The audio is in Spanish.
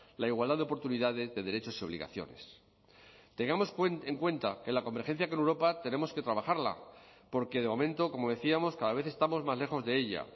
la igualdad de oportunidades de derechos y obligaciones tengamos en cuenta que la convergencia con europa tenemos que trabajarla porque de momento como decíamos cada vez estamos más lejos de ella